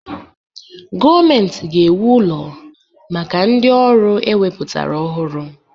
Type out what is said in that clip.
Gọọmenti ga-ewu ụlọ maka ndị ọrụ ewepụtara ọhụrụ